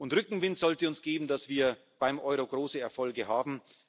Rückenwind sollte uns geben, dass wir beim Euro große Erfolge haben.